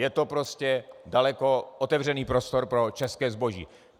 Je to prostě daleko otevřenější prostor pro české zboží.